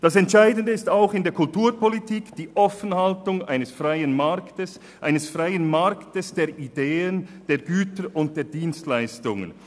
Das Entscheidende ist auch in der Kulturpolitik die Offenhaltung des freien Marktes der Ideen, der Güter und der Dienstleistungen.